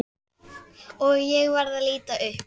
Og ég verð að líta upp.